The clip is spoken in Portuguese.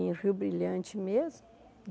em Rio Brilhante mesmo.